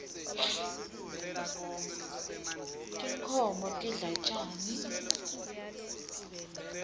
tinkhoms tidla tjani